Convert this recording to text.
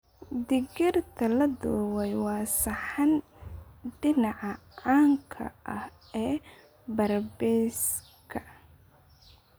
Digirta la dubay waa saxan dhinaca caanka ah ee barbecues-ka.